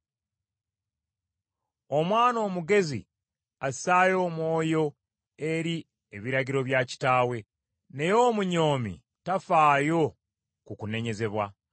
Omwana omugezi assaayo omwoyo eri ebiragiro bya kitaawe, naye omunyoomi tafaayo ku kunenyezebwa.